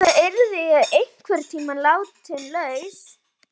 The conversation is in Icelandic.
Auðvitað yrði ég einhverntíma látin laus.